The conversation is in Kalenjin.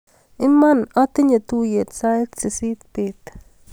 Iman atinye tuiyet sait sisit bet.